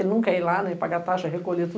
Ele não quer ir lá, né, pagar taxa, recolher tudo.